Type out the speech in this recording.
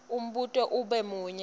umbuto ube munye